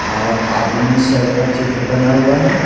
और आदमी सब का चित्र बना हुआ है।